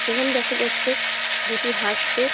সেখানে দেখা যাচ্ছে দুটি হাঁসকে।